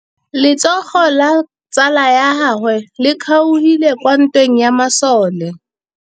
Letsôgô la tsala ya gagwe le kgaogile kwa ntweng ya masole.